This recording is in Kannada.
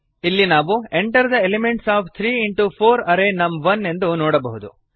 ಇಲ್ಲಿ ನಾವು enter the elements of three into four array ನಮ್1 ಎಂದು ನೋಡಬಹುದು